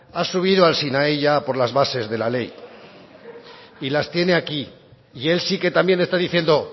ha subido al sinaí ya a por las bases de la ley y las tiene aquí y él sí que también está diciendo